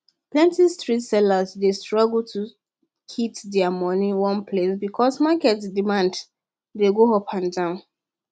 plenty street sellers dey struggle to kip their money one place because market demands dey go up and down